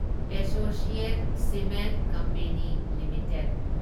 associate Cement Company limited